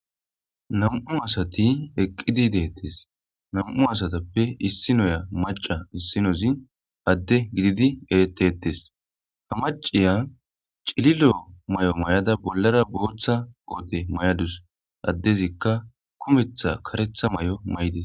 nam7u asati eqqidi deettes nam7u asatappe issinoya maca issinozi adde gididi eretettes ha maciya cililo may7o may7ada bollara booththa oote may7adus addezikka kumetha karetha may7o may7des